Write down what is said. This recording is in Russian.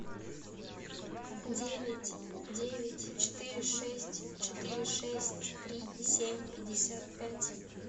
девять девять четыре шесть четыре шесть три семь пятьдесят пять